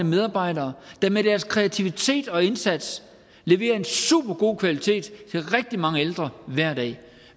medarbejdere der med deres kreativitet og indsats leverer en supergod kvalitet til rigtig mange ældre hver dag